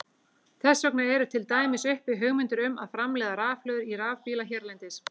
Þess vegna eru til dæmis uppi hugmyndir um að framleiða rafhlöður í rafbíla hérlendis.